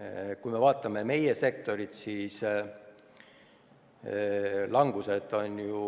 Aga kui vaatame meie sektorit, siis langus on ju